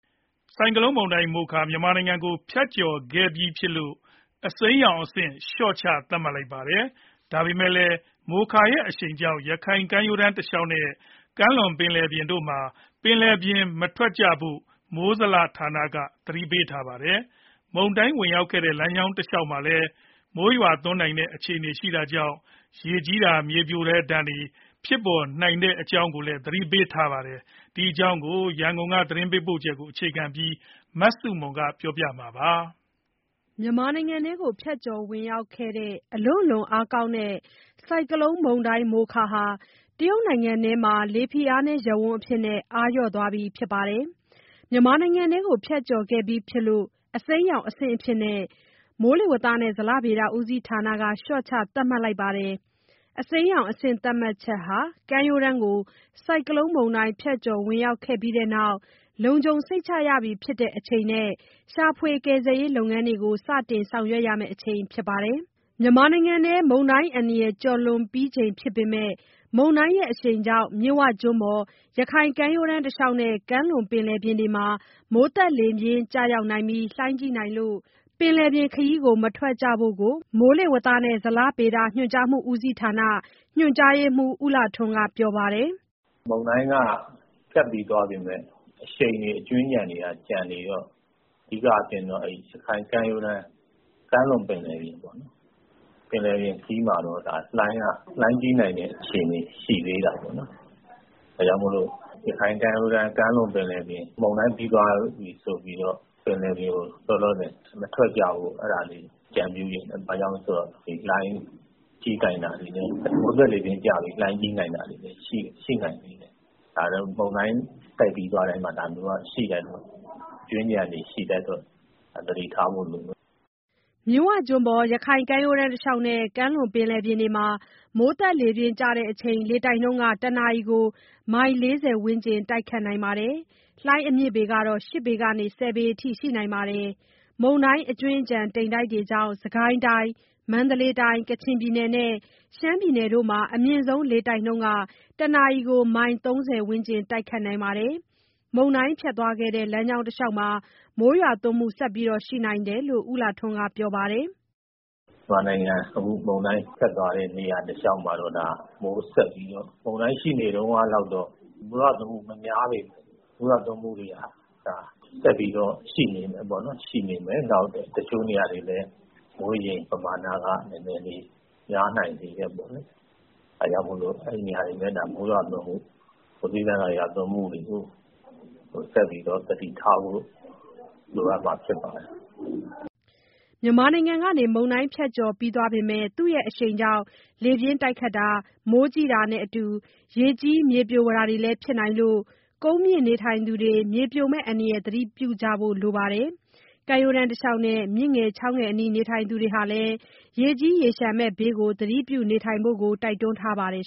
ဆိုင်ကလုန်းမုန်တိုင်း "မိုခါ" မြန်မာနိုင်ငံကို ဖြတ်ကျော်ခဲ့ပြီးဖြစ်လို့ အစိမ်းရောင်အဆင့်အဖြစ် လျော့ချ သတ်မှတ်လိုက်ပါတယ်။ ဒါပေမဲ့လည်း မိုခါရဲ့အရှိန်ကြောင့် ရခိုင်ကမ်းရိုးတန်း တလျှောက်နဲ့ ကမ်းလွန်ပင်လယ်ပြင်တို့မှာ ပင်လယ်ပြင်ခရီး မထွက်ဖို့ကို မိုးဇလက သတိပေးထားပါတယ်။ မုန်တိုင်းဝင်ရောက်ခဲ့တဲ့ လမ်းကြောင်းတလျှောက်မှာလည်း မိုးရွာသွန်းနိုင်တဲ့ အခြေအနေကြောင့် ရေကြီးတာနဲ့ မြေပြိုတဲ့ဒဏ် သတိပြုကြဖို့ကိုလည်း ပြောပါတယ်။ ဒီအကြောင်း ရန်ကုန်က သတင်းပေးပို့ချက်ကို အခြေခံပြီး မဆုမွန်က ပြောပြမှာပါ။ မြန်မာနိုင်ငံထဲကို ဖြတ်ကျော်ဝင်ရောက်ခဲ့တဲ့ အလွန့်အလွန်အားကောင်းတဲ့ ဆိုင်ကလုန်းမုန်တိုင်း "မိုခါ" ဟာ တရုတ်နိုင်ငံအတွင်း လေဖိအားနည်းရပ်ဝန်းအဖြစ်နဲ့ အားလျော့သွားခဲ့ပြီ ဖြစ်ပါတယ်။ မြန်မာနိုင်ငံထဲကို ဖြတ်ကျော်ခဲ့ပြီးဖြစ်လို့ အစိမ်းရောင်အဆင့်အဖြစ် မိုးဇလက လျှော့ချ သတ်မှတ်လိုက်ပါတယ်။ အစိမ်းရောင်အဆင့် သတ်မှတ်ချက်ဟာ ကမ်းရိုးတန်းကို ဆိုင်ကလုန်းမုန်တိုင်း ဖြတ်ကျော် ဝင်ရောက်ပြီးတဲ့နောက် လုံခြုံစိတ်ချရတဲ့အချိန်နဲ့ ရှာဖွေကယ်ဆယ်ရေး လုပ်ငန်းတွေကို စတင်ဆောင်ရွက်ရမယ့် အချိန်ဖြစ်ပါတယ်။ မြန်မာနိုင်ငံတွင်း မုန်တိုင်းအန္တရာယ် ကျော်လွန်ပြီးချိန် ဖြစ်ပေမယ့် မုန်တိုင်းရဲ့အရှိန်ကြောင့် မြစ်ဝကျွန်းပေါ်၊ ရခိုင်ကမ်းရိုးတန်း တလျှောက်နဲ့ ကမ်းလွန်ပင်လယ်ပြင်တို့မှာ မိုးသက်လေပြင်း ကျရောက်ပြီး၊ လှိုင်းကြီးနိုင်လို့ ပင်လယ်ပြင်ခရီး မထွက်ကြဖို့ကို မိုးလေဝသနဲ့ ဇလဗေဒဌာန ညွှန်ကြားရေးမှူး ဦးလှထွန်းက ပြောပါတယ်။ "မုန်တိုင်းက ဖြတ်ပြီးသွားပေမယ့် အရှိန်တွေ၊ အကြွင်းအကျန်တွေက ကျန်နေတော့ အဓိကအားဖြင့်တော့ ရခိုင်ကမ်းရိုးတန်း ကမ်းလွန်ပင်လယ်ပြင်ပေါ့နော်။ ပင်လယ်ပြင် ခရီးမှာတော့ လှိုင်းကြီးနိုင်တဲ့ အခြေအနေ ရှိသေးတာပေါ့။ ဒါကြောင့်မို့လို့ ရခိုင်ကမ်းရိုးတန်း ကမ်းလွန်ပင်လယ်ပြင် မုန်တိုင်းပြီးသွားပြီ ဆိုပြီးတော့ ပင်လယ်ပြင်ကို လောလောဆယ် မထွက်ကြဖို့ အကြံပြုချင်တယ်။ ဘာကြောင့်လဲဆိုတော့ မိုးသက်လေပြင်းကျပြီး လှိုင်းကြီးတာတွေလည်း ရှိနိုင်သေးတယ်။ မုန်တိုင်း တိုက်ပြီးသွားတိုင်းမှာ ဒါမျိုးက အကြွင်းအကျန်တွေ ရှိတတ်တော့ သတိထားဖို့လိုမယ်။" မြစ်ဝကျွန်းပေါ်၊ ရခိုင်ကမ်းရိုးတန်း တလျှောက်နဲ့ ကမ်းလွန်ပင်လယ်ပြင်တို့မှာ မိုးသက်လေပြင်းကျချိန် လေတိုက်နှုန်းက တနာရီကို မိုင် ၄၀ ဝန်းကျင် တိုက်ခတ်နိုင်ပါတယ်။ လှိုင်းအမြင့်ကတော့ ၈ ပေကနေ ၁၀ ပေအထိ ရှိနိုင်ပါတယ်။ မုန်တိုင်း အကြွင်းအကျန် တိမ်တိုက်တွေကြောင့် စစ်ကိုင်းတိုင်း၊ မန္တလေးတိုင်း၊ ကချင်ပြည်နယ်နဲ့ ရှမ်းပြည်နယ်တို့မှာ အမြင့်ဆုံး လေတိုက်နှုန်း တနာရီကို မိုင် ၃၀ ဝန်းကျင် တိုက်ခတ်နိုင်ပါတယ်။ မုန်တိုင်းဖြတ်သွားခဲ့တဲ့ လမ်းကြောင်းတလျှောက်မှာလည်း မိုးရွာသွန်းမှု ဆက်ပြီးရှိနိုင်တယ်လို့ ဦးလှထွန်းက ပြောပါတယ်။ "မြန်မာနိုင်ငံမှာ အခု မုန်တိုင်းဖြတ်သွားတဲ့ နေရာတလျှောက်မှာတော့ မိုးဆက်နိုင်တယ်။ မုန်တိုင်း ရှိနေတုန်းကလောက်တော့ မိုးရွာသွန်းမှု မများပေမယ့် မိုးဆက်ရွာနိုင်မယ်။ တချို့နေရာတွေလည်း မိုးရေချိန်ပမာဏက နည်းနည်းလေး များနိုင်သေးတယ်။ ဒါကြောင့်မို့လို့ အဲဒီနေရာတွေမှာ မိုးသည်းထန်စွာ ရွာသွန်းမှုတွေကို ဆက်ပြီးတော့ သတိထားဖို့ လိုအပ်မှာဖြစ်ပါတယ်။" မြန်မာနိုင်ငံကနေ မုန်တိုင်းဖြတ်ကျော် ပြီးသွားပေမယ့် သူ့ရဲ့အရှိန်ကြောင့် လေပြင်းတိုက်တာ၊ မိုးကြီးတာနဲ့အတူ ရေကြီး၊ မြေပြိုတာတွေလည်း ဖြစ်လာနိုင်လို့ ကုန်းမြင့်နေထိုင်သူတွေ မြေပြိုမယ့်အန္တရာယ် သတိပြုကြဖို့ လိုပါတယ်။ ကမ်းရိုးတန်းတလျှောက်နဲ့ မြစ်ငယ်၊ ချောင်းငယ်အနီး နေထိုင်သူတွေလည်း ရေကြီး၊ ရေလျှံမယ့်ဘေး သတိပြုနေထိုင်ဖို့ကို တိုက်တွန်းထားပါတယ်